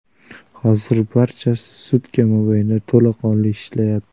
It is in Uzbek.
Hozir barchasi sutka mobaynida to‘laqonli ishlayapti.